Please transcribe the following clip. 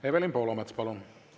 Evelin Poolamets, palun!